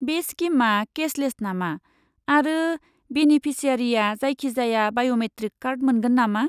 बे स्किमआ केशलेस नामा, आरो बेनेफिसियारिआ जायखिजाया बाय'मेट्रिक कार्ड मोनगोन नामा?